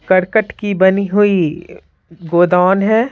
करकट की बनी हुई गोदौन है।